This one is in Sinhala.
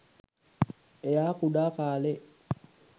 එයා කුඩා කාලේ